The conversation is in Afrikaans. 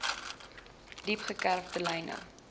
diep gekerfde lyne